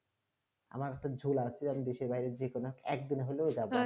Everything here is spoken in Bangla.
আবার একটা ঝোল আছে আমি দেশে বাইরে যে কোনো এক দিন হলো যাবো